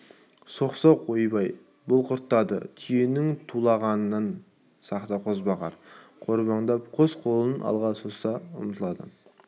соқ-соқ ойбай бұл құртады түйенің тулағанынан сақта қозбағар қорбандап қос қолын алға соза ұмтылады